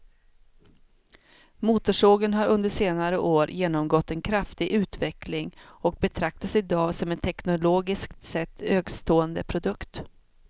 Motorsågen har under senare år genomgått en kraftig utveckling och betraktas i dag som en teknologiskt sett högstående produkt.